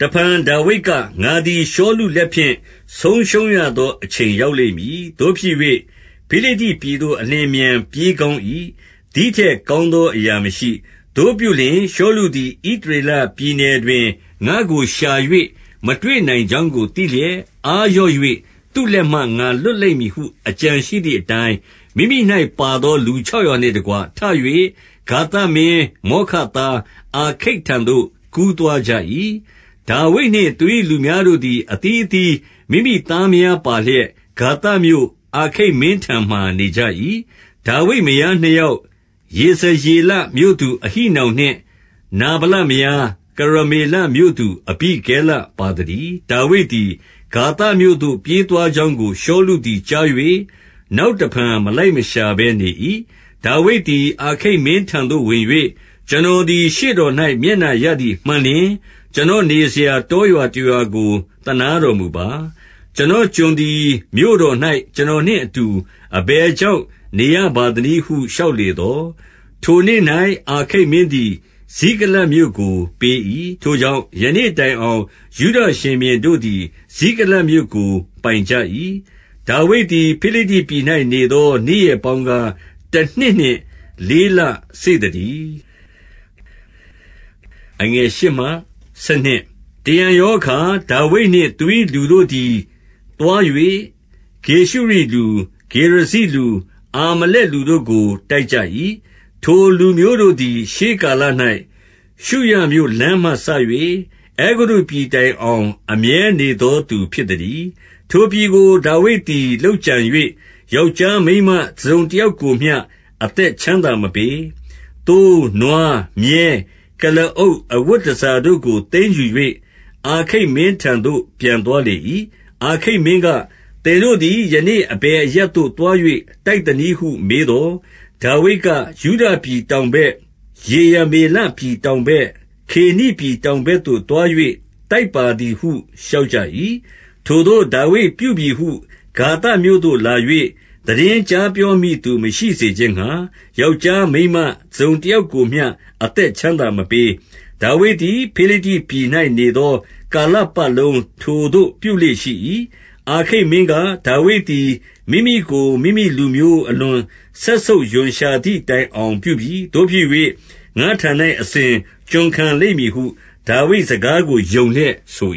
တဖန်ဒါဝိဒ်က၊ ငါသည် ရှောလုလက်ဖြင့် ဆုံးရှုံးရသော အချိန်ရောက်လိမ့်မည်။ သို့ဖြစ်၍ ဖိလိတ္တိပြည်သို့ အလျင်အမြန် ပြေးကောင်း၏။ သည်ထက်ကောင်းသော အရာမရှိ။ သို့ပြုလျှင် ရှောလုသည် ဣသရေလပြည်နယ်တွင် ငါ့ကို ရှာ၍မတွေ့နိုင်ကြောင်းကို သိလျက်၊ အားလျော့၍ သူ့လက်မှ ငါလွတ်လိမ့်မည်ဟု အကြံရှိသည်အတိုင်း၊ 2 မိမိ၌ ပါသော လူခြောက်ရာနှင့်တကွ ထ၍ ဂါသမင်းမောခသားအာခိတ် ထံသို့ကူးသွားကြ၏။ 3 ဒါဝိဒ်နှင့် သူ၏လူများတို့သည် အသီးအသီး မိမိသားမယားပါလျက် ဂါသမြို့၊ အာခိတ်မင်းထံမှာ နေကြ၏။ ဒါဝိဒ်မယားနှစ်ယောက်၊ ယေဇရေလမြို့သူ အဟိနောင်နှင့် နာဗလမယား၊ ကရမေလမြို့သူ အဘိဂဲလပါသတည်း။ 4 ဒါဝိဒ်သည် ဂါသမြို့သို့ ပြေးသွားကြောင်းကို ရှောလုသည် ကြား၍ နောက်တဖန်မလိုက်မရှာဘဲ နေ၏။ 5 ဒါဝိဒ်သည် အာခိတ်မင်းထံသို့ဝင်၍၊ ကျွန်တော်သည် ရှေ့တော်၌မျက်နှာရသည်မှန်လျှင် ကျွန်တော်နေစရာ တောရွာတရွာကို သနားတော်မူပါ။ ကိုယ်တော် ကျွန်သည် မြို့တော်၌ ကိုယ်တော် နှင့်အတူ အဘယ်ကြောင့် နေရပါသနည်းဟု လျှောက်လေသော်၊ 6 ထိုနေ့၌ အာခိတ်မင်းသည် ဇိကလတ်မြို့ကို ပေး၏။ ထို့ကြောင့် ယနေ့တိုင်အောင် ယုဒရှင်ဘုရင်တို့သည် ဇိကလတ်မြို့ကို ပိုင်ကြ၏။ 7 ဒါဝိဒ်သည် ဖိလိတ္တိပြည်၌ နေသော နေ့ရက်ပေါင်းကား တနှစ်နှင့် လေးလစေ့သတည်း။ 8 တရံရောအခါ ဒါဝိဒ်နှင့် သူ၏လူတို့သည် သွား၍ ဂေရှုရိလူ၊ ဂေရဇိလူ၊ အာမလက်လူတို့ကို တိုက်ကြ၏၊၊ ထိုလူမျိုးတို့သည် ရှေးကာလ၌ ရှုရမြို့လမ်းမှစ၍ အဲဂုတ္တုပြည်တိုင်အောင် အမြဲနေသောသူ ဖြစ်သတည်း။ 9 ထိုပြည်ကို ဒါဝိဒ်သည် လုပ်ကြံ၍ ယောက်ျားမိန်းမ တစုံတယောက်ကိုမျှ အသက်ချမ်းသာမပေး။ သိုး၊ နွား၊ မြည်း၊ ကုလားအုပ်၊ အဝတ်တန်ဆာတို့ကို သိမ်းယူ၍ အာခိတ်မင်းထံသို့ ပြန်သွားလေ၏။ 10 အာခိတ်မင်းက၊ သင်တို့သည် ယနေ့အဘယ်အရပ်သို့ သွား၍ တိုက်သနည်းဟု မေးသော်၊ ဒါဝိဒ်က၊ ယုဒပြည်တောင်ဘက်၊ ယေရမေလပြည်တောင်ဘက်၊ ကေနိပြည်တောင်ဘက်သို့ သွား၍ တိုက်ပါသည်ဟု လျှောက်၏။ 11 ထိုသို့ ဒါဝိဒ်ပြုပြီဟု ဂါသမြို့သို့လာ၍ သိတင်းကြားပြောမည့်သူမရှိစေခြင်းငှါ ယောက်ျားမိန်းမ တစုံတယောက်ကိုမျှ အသက်ချမ်းသာ မပေး။ ဒါဝိဒ်သည် ဖိလိတ္တြိပည်၌နေသော ကာလပတ်လုံး ထိုသို့ပြုလေ့ရှိ၏။ 12 အာခိတ်မင်းက၊ ဒါဝိဒ်သည် မိမိကို မိမိလူမျိုး အလွန်စက်ဆုပ်ရွံရှာသည်တိုင်အောင် ပြုပြီ။ သို့ဖြစ်၍ ငါ့ထံ၌ အစဉ်ကျွန်ခံလိမ့်မည်ဟု ဒါဝိတ်စကားကို ယုံလျက်ဆို